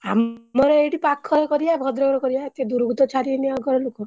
ଆ ମର ଏଇଠି ପାଖରେ କରିଆ ଭଦ୍ରକରେ କରିଆ ଏତେ ଦୂରକୁ ଛାଡ଼ିବେନି ଆଉ ଘରଲୋକ।